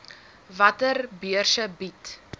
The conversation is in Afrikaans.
watter beurse bied